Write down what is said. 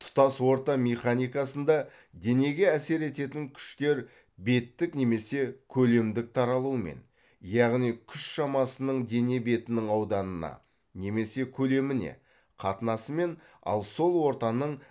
тұтас орта механикасында денеге әсер ететін күштер беттік немесе көлемдік таралуымен яғни күш шамасының дене бетінің ауданына немесе көлеміне қатынасымен ал сол ортаның